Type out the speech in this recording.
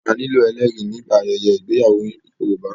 A nílò ẹlẹ́rìí nígbà ayẹyẹ ìgbéyàwó Yorùbá.